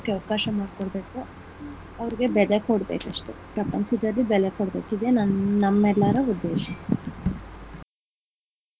ಅವಕಾಶ ಮಾಡ್ಕೊಡ್ಬೇಕು ಅವ್ರಿಗೆ ಬೆಲೆ ಕೊಡ್ಬೇಕು ಅಷ್ಟೆ ಪ್ರಪಂಚದಲ್ಲಿ ಬೆಲೆ ಕೊಡ್ಬೇಕು ಇದೆ ನಮ್ಮೆಲ್ಲರ ಉದ್ದೇಶ.